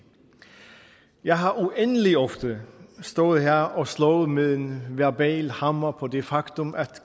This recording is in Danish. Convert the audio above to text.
jeg har uendelig ofte stået her og slået med en verbal hammer på det faktum at